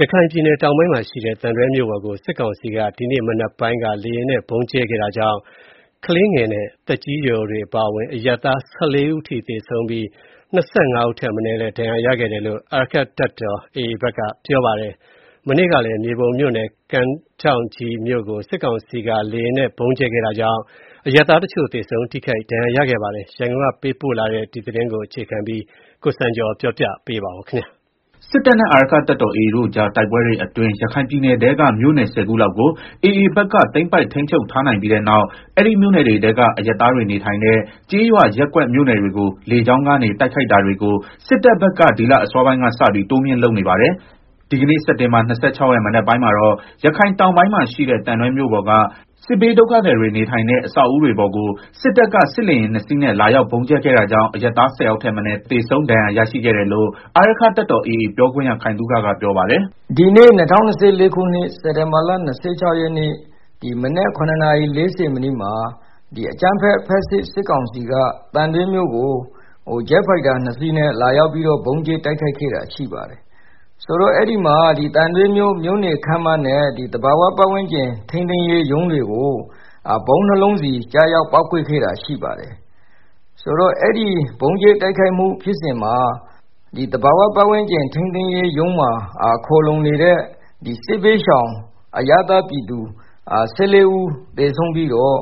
ရခိုင်ပြည်နယ် တောင်ပိုင်းမှာရှိတဲ့ သံတွဲမြို့ပေါ်ကို စစ်ကောင်စီက ဒီကနေ့မနက်ပိုင်းက လေယာဉ်နဲ့ ဗုံးကြဲခဲ့တာကြောင့် ကလေးငယ်နဲ့ သက်ကြီးရွယ်အိုတွေ အပါအဝင် အရပ်သား ၁၄ ဦး သေဆုံးပြီး ၂၅ ဦးထက်မနည်း ဒဏ်ရာရရှိခဲ့တယ်လို့ အာရက္ခတပ်တော် AA ဘက်က ပြောပါတယ်။ မနေ့ကကလည်း မြေပုံမြို့ နယ် ကမ်းထောင့်ကြီးမြို့ကို စစ်ကောင်စီက လေယာဉ်နဲ့ ဗုံးကြဲခဲ့တာကြောင့် အရပ်သားတချို့ သေဆုံး ထိခိုက်ဒဏ်ရာရခဲ့ပါတယ်။ ရန်ကုန်ကလာတဲ့သတင်းကို အခြေခံပြီး တင်ပြထားပါတယ်။ စစ်တပ်နဲ့ အာရက္ခတပ်တော် AA တို့ကြားတိုက်ပွဲတွေအတွင်း ရခိုင်ပြည်နယ်ထဲက မြို့နယ် ၁ဝ ခုလောက်ကို AA ဘက်က သိမ်းပိုက် ထိန်းချုပ်ထားနိုင်ပြီးတဲ့နောက် အဲဒီမြို့နယ်တွေထဲက အရပ်သားတွေနေထိုင်တဲ့ ကျေးရွာ ရပ်ကွက်မြို့နယ်တွေကို လေကြောင်း တိုက်ခိုက်တာတွေကို စစ်တပ်ဘက်က ဒီလအစောပိုင်းကစပြီး တိုးမြှင့် လုပ်နေပါတယ်။ ဒီကနေ့ စက်တင်ဘာ ၂၆ ရက် မနက်ပိုင်းမှာတော့ ရခိုင်တောင်ပိုင်းမှာရှိတဲ့ သံတွဲမြို့ပေါ်က စစ်ဘေးဒုက္ခသည်တွေ နေထိုင်တဲ့ အဆောက်အဦတွေပေါ်ကို စစ်တပ်က စစ်လေယာဉ် ၂ စီးနဲ့ လာရောက်ဗုံးကြဲခဲ့တာကြောင့် အရပ်သား ၁၀ ယောက်ထက်မနည်း သေဆုံး၊ ဒဏ်ရာရရှိခဲ့တယ်လို့ အာရက္ခတပ်တော် AA ပြောခွင့်ရ ခိုင်သုခကပြောပါတယ်။ "အဲဒီမှာ သံတွဲမြို့ မြို့နယ်ခန်းမနဲ့ သဘာဝပတ်ဝန်းကျင် ထိန်းသိမ်းရေး ရုံးတွေကို ဗုံး ၂ လုံးစီ ကျရောက်ပေါက်ကွဲခဲ့တာရှိပါတယ်။ ဆိုတော့ အဲဒီ ဗုံးကြဲ တိုက်ခိုက်မှု ဖြစ်စဉ်မှာ သဘာဝပတ်ဝန်းကျင်ရုံးမှာ ခိုလုံနေတဲ့ စစ်ဘေးရှောင် အရပ်သား ပြည်သူ ၁၄ ဦး သေဆုံးပြီးတော့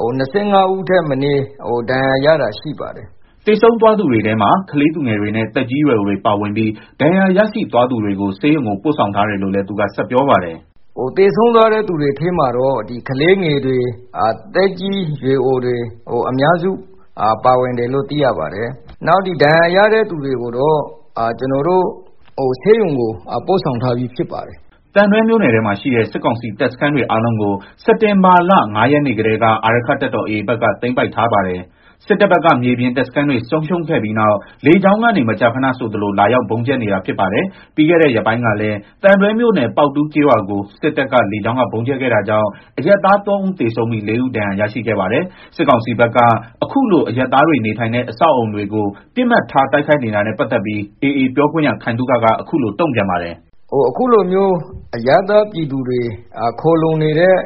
၂၅ဦးထက်မနည်း ဒဏ်ရာရတာ ရှိပါတယ်။” သေဆုံးသွားသူတွေထဲမှာ ကလေးသူငယ်တွေနဲ့ သက်ကြီးရွယ်အိုတွေ ပါဝင်ပြီး ဒဏ်ရာရရှိသွားသူတွေကို ဆေးရုံကိုပို့ဆောင်ထားတယ်လို့လည်း သူက ဆက်ပြောပါတယ်။ “သေဆုံးသွားတဲ့ သူတွေထဲမှာတော့ ကလေးငယ်တွေ သက်ကြီးရွယ်အိုတွေ၊ အများစု ပါဝင်တယ်လို့ သိရပါတယ်၊ နောက် ဒဏ်ရာရတဲ့ သူတွေကိုတော့ ကျနော်တို့ ဆေးရုံကို ပို့ဆောင်ထားပြီး ဖြစ်ပါတယ်။” သံတွဲမြို့နယ်ထဲမှာ ရှိတဲ့ စစ်ကောင်စီတပ်စခန်းတွေအားလုံးကို စက်တင်ဘာလ ၅ ရက်နေ့ကတည်းက အာရက္ခတပ်တော် AA ဘက်က သိမ်းပိုက်ထားပါတယ်။ စစ်တပ်ဘက်က မြေပြင်တပ်စခန်းတွေ ဆုံးရှုံးခဲ့ပြီးနောက် လေကြောင်းကနေ မကြာခဏဆိုသလို လာရောက် ဗုံးကြဲနေတာဖြစ်ပါတယ်။ ပြီးခဲ့တဲ့ ရက်ပိုင်းကလည်း သံတွဲမြို့နယ် ပေါက်တူးကျေးရွာကို စစ်တပ်က လေကြောင်းက ဗုံးကြဲခဲ့တာကြောင့် အရပ်သား ၃ ဦးသေဆုံးပြီး ၄ ဦးဒဏ်ရာရရှိခဲ့ပါတယ်။ စစ်ကောင်စီဘက်က အခုလို အရပ်သားတွေနေထိုင်တဲ့ အဆောက်အအုံတွေကို ပစ်မှတ်ထား တိုက်ခိုက်နေတာနဲ့ ပတ်သတ်ပြီး AA ပြောခွင့်ရ ခိုင်သုခက အခုလို တုံ့ပြန်ပါတယ်။ “ အခုလိုမျိုး အရပ်သားပြည်သူတွေ ခိုလုံနေတဲ့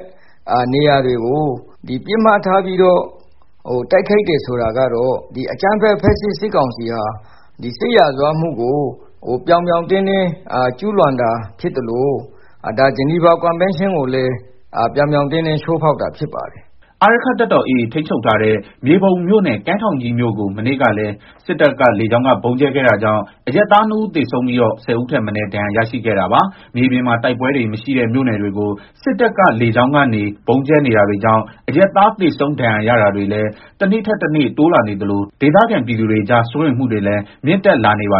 နေရာတွေကို ပစ်မှတ်ထားပြီးတော့ တိုက် ခိုက်တယ် ဆိုတာကတော့ အကြမ်းဖက် ဖက်ဆစ် စစ်ကောင်စီဟာ စစ်ရာဇဝတ်မှုကို ပြောင် ပြောင်တင်းတင်းကျူးလွန်တာ ဖြစ်သလို ဂျနီဗာကွန်းဘန်းရှင်းကိုလည်း ပြောင်ပြောင် တင်း တင်း ချိုးဖောက်တာဖြစ်ပါတယ်။” အာရက္ခတပ်တော် AA ထိန်းချုပ်ထားတဲ့ မြေပုံမြို့နယ် ကန်းထောင့်ကြီး မြို့ကို မနေ့ကလည်း စစ်တပ်က လေကြောင်းက ဗုံးကြဲခဲ့တာကြောင့် အရပ်သား ၂ ဦး သေဆုံးပြီးတော့ ၁ဝ ဦးထက်မနည်း ဒဏ်ရာရရှိခဲ့တာပါ။ မြေပြင်မှာ တိုက်ပွဲတွေ မရှိတဲ့ မြို့နယ်တွေကို စစ်တပ်က လေကြောင်းကနေ ဗုံးကြဲနေတာတွေကြောင့် အရပ်သား သေဆုံး ဒဏ်ရာရတာတွေလည်း တနေ့ထက်တနေ့ တိုးလာနေသလို ဒေသခံ ပြည်သူတွေကြား စိုးရိမ်မှုတွေလည်း မြင့်တက်လာနေတာပါ